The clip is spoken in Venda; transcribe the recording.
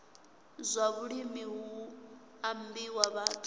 zwa vhulimi hu ambiwa vhathu